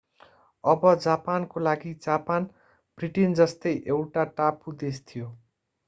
अब जापानको लागि जापान ब्रिटेन जस्तै एउटा टापु देश थियो